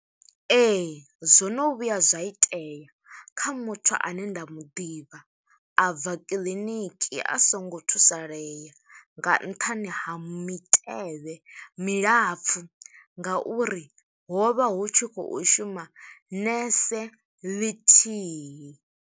Ee, zwo no vhuya zwa itea kha muthu ane nda mu ḓivha, a bva kiḽiniki a songo thusalea, nga nṱhani ha mitevhe milapfu, nga uri ho vha hu tshi khou shuma nese ḽithihi.